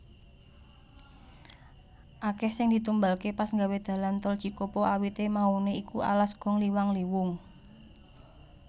Akeh sing ditumbalke pas nggawe dalan Tol Cikopo awite maune iku alas gong liwang liwung